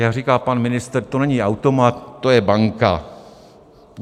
Jak říká pan ministr, to není automat, to je banka.